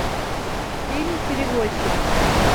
фильм перевозчик